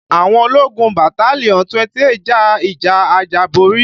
Àwọn ológun battalion 28 ja ìjà àjàborí